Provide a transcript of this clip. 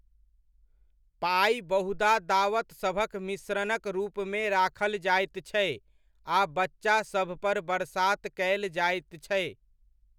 पाइ बहुधा दावतसभक मिश्रणक रूपमे राखल जाइत छै आ बच्चासभपर बरसात कयल जाइत छै।